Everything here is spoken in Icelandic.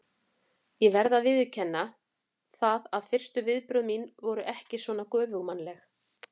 Ég verð að viðurkenna það að fyrstu viðbrögð mín voru ekki svona göfugmannleg.